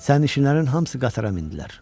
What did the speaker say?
Sərnişinlərin hamısı qatara mindilər.